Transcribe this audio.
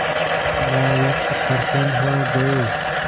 नाविक प्रसन्न हो गए